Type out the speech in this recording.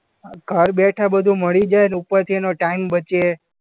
હા ઘર બેઠા બધું મળી જાય અને ઉપરથી એનો ટાઈમ બચે.